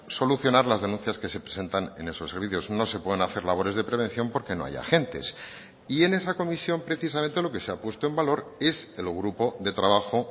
solucionar las denuncias que se presentan en esos servicios no se pueden hacer labores de prevención porque no hay agentes y en esa comisión precisamente lo que se ha puesto en valor es el grupo de trabajo